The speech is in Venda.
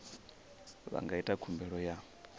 vha nga ita khumbelo ya